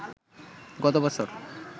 গত বছর